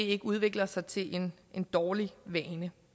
ikke udvikler sig til en dårlig vane